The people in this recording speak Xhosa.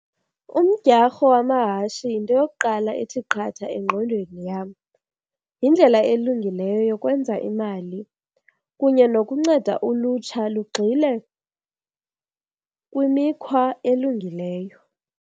Umdyarho wamahashi yinto yokuqala ethi qatha engqondweni yam. Yindlela elungileyo yokwenza imali kunye nokunceda ulutsha lugxile kwimikhwa elungileyo.